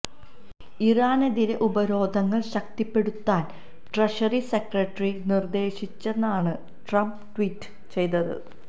ഇറാനെതിരേ ഉപരോധങ്ങള് ശക്തിപ്പെടുത്താന് treasury secretary നിര്ദേശിച്ചെന്നാണ് ട്രംപ് ട്വീറ്റ് ചെയ്തത്